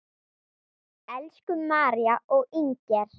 Elsku María og Inger.